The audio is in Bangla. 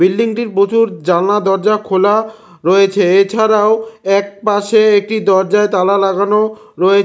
বিল্ডিংটির প্রচুর জানলা দরজা খোলা রয়েছে এছাড়াও এক পাশে একটি দরজায় তালা লাগানো রয়েছ--